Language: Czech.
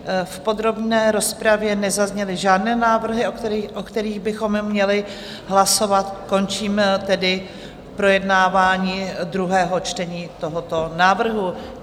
V podrobné rozpravě nezazněly žádné návrhy, o kterých bychom měli hlasovat, končím tedy projednávání druhého čtení tohoto návrhu.